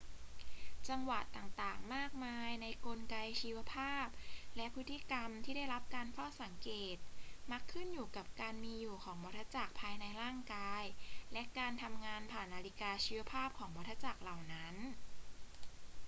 จังหวะต่าง ๆ มากมายในกลไกชีวภาพและพฤติกรรมที่ได้รับการเฝ้าสังเกต มักขึ้นอยู่กับการมีอยู่ของวัฏจักรภายในร่างกายและการทำงานผ่านนาฬิกาชีวภาพของวัฏจักรเหล่านั้น